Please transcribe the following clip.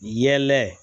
Yɛlɛ